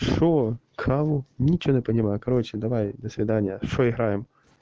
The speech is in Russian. что кого ничего не понимаю все короче давай до свидания что играем